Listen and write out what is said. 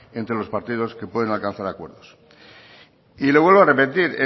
entre los partidos que pueden alcanzar acuerdos y le vuelvo a repetir